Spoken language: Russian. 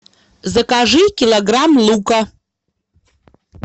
закажи килограмм лука